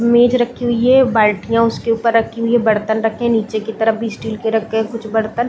मेज रखी हुई है ऊपर रखी हुई है बर्तन रखे है नीचे की तरफ भी स्टील के भी रखे है कुछ बर्तन--